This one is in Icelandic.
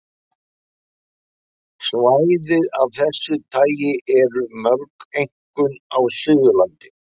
Svæði af þessu tagi eru mörg, einkum á Suðurlandi.